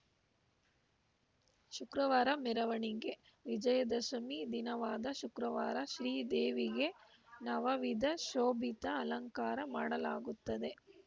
ಶುಕ್ರವಾರ ಮೆರವಣಿಗೆ ವಿಜಯದಶಿಮಿ ದಿನವಾದ ಶುಕ್ರವಾರ ಶ್ರೀದೇವಿಗೆ ನವವಿಧ ಶೋಭಿತ ಅಲಂಕಾರ ಮಾಡಲಾಗುತ್ತದೆ